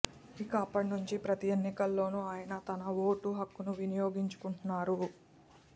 ఇక అప్పటి నుంచి ప్రతీ ఎన్నికల్లోనూ ఆయన తన ఓటు హక్కును వినియోగించుకుంటున్నారు